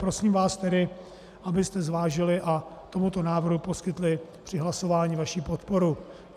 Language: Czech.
Prosím vás tedy, abyste zvážili a tomuto návrhu poskytli při hlasování vaši podporu.